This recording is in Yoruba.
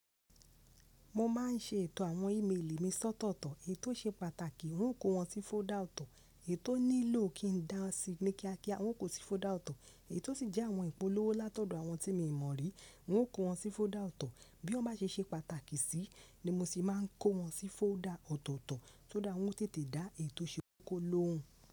Mo ma n ṣe ètò àwọn ímélì mi sọ́tọ̀tọ̀. Ètò ṣe pàtàkì, n ó kó wọn sí fọ́dà ọ̀tọ̀. Ètò nílò kí n dáa síi ní kíákíá, wọn kò sí fodà ọ̀tọ̀. Èyí to sì jẹ àwọn ìpolówó látọ̀dọ̀ àwọn tí mo mọ̀ rí, hún kó wọn sí fodà ọ̀tọ̀. Bí wọn bá ṣe ṣe pàtàkì sí, ní mo sì máa n kó wọn sí fodà ọ̀tọ̀tọ̀ tó dá wọn tètè dá ètò ṣe kókó lóhun.